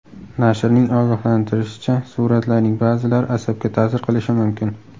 Nashrning ogohlantirishicha, suratlarning ba’zilari asabga ta’sir qilishi mumkin.